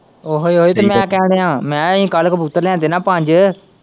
ਉਹੀ ਉਹੀ ਤੇ ਮੈਂ ਕੀ ਕਹਿਣ ਦਿਆਂ ਮੈਂ ਕਿਹਾ ਆਹੀ ਕੱਲ ਕਬੂਤਰ ਲਿਆਂਦੇ ਨਾ ਪੰਜ।